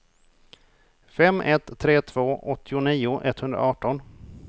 fem ett tre två åttionio etthundraarton